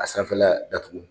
A sanfɛla datugu